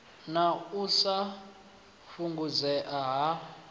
na u sa fhungudzea ha